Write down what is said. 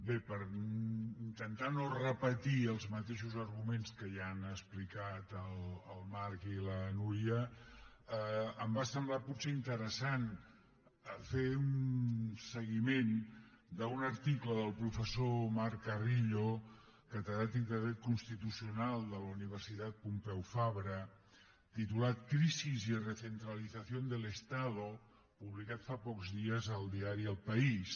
bé per intentar no repetir els mateixos arguments que ja han explicat el marc i la núria em va semblar potser interessant fer un seguiment d’un article del professor marc carrillo catedràtic de dret constitucional de la universitat pompeu fabra titulat crisis y recentralización del estado publicat fa pocs dies al diari el país